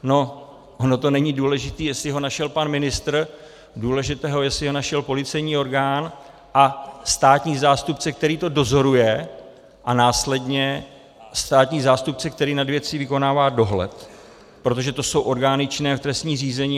No ono to není důležité, jestli ho našel pan ministr, důležité je, jestli ho našel policejní orgán a státní zástupce, který to dozoruje, a následně státní zástupce, který nad věcí vykonává dohled, protože to jsou orgány činné v trestním řízení.